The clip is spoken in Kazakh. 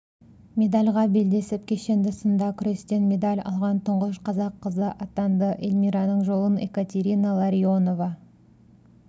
медальға белдесіп кешенді сында күрестен медаль алған тұңғыш қазақ қызы атанды эльмираның жолын екатерина ларионова